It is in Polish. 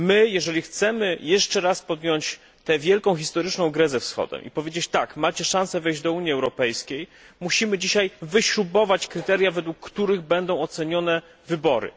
Jeżeli chcemy jeszcze raz podjąć tę wielką historyczną grę ze Wschodem i powiedzieć tak, macie szansę wejść do Unii Europejskiej, musimy dziś wyśrubować kryteria, według których będą ocenione wybory.